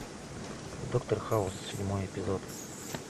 доктор хаус седьмой эпизод